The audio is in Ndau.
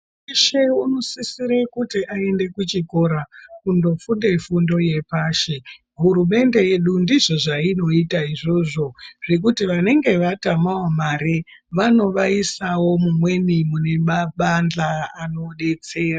Muntu veshe unosisire kuti aende kuchikora kundofunde fundo yepashi. Hurumende yedu ndizvo zvairoita izvozvo zvekuti vanenge vatamavo mare vanovaisavo mumweni mune mabandla anobetsera.